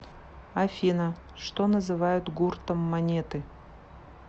афина что называют гуртом монеты